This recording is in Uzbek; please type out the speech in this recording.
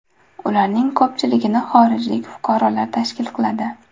Ularning ko‘pchiligini xorijlik fuqarolar tashkil qiladi.